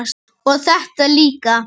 og þetta líka